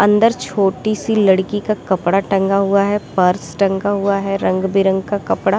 अंदर छोटी सी लड़की का कपड़ा टंगा हुआ है पर्स टंगा हुआ है रंग बिरंगा कपड़ा --